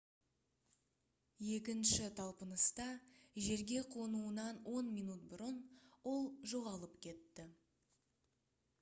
екінші талпыныста жерге қонуынан он минут бұрын ол жоғалып кетті